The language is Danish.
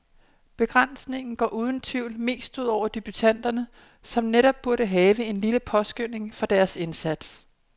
Begrænsningen går uden tvivl mest ud over debutanter, som netop burde have en lille påskønning for deres indsats.